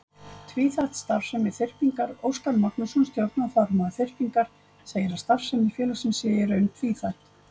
Tvíþætt starfsemi Þyrpingar Óskar Magnússon, stjórnarformaður Þyrpingar, segir að starfsemi félagsins sé í raun tvíþætt.